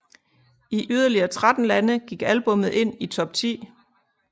I yderligere 13 lande gik albummet ind i top 10